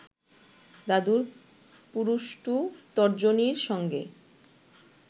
দাদুর পুরুষ্টু তর্জনীর সঙ্গে